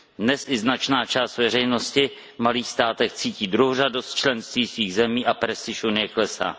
Dnes i značná část veřejnosti v malých státech cítí druhořadost členství svých zemí a prestiž Unie klesá.